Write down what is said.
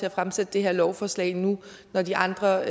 at fremsætte det her lovforslag nu når de andre